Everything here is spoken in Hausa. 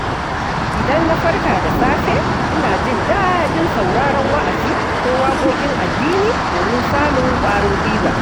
Idan na farka da safe, ina jin daɗin sauraron wa’azi ko waƙoƙin addini domin samun ƙwarin gwiwa.